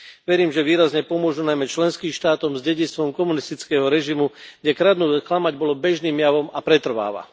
Verím, že výrazne pomôžu najmä členským štátom s dedičstvom komunistického režimu, kde kradnúť a klamať bolo bežným javom a pretrváva.